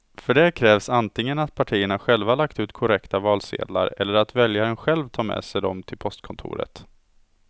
För det krävs antingen att partierna själva lagt ut korrekta valsedlar eller att väljaren själv tar med sig dem till postkontoret.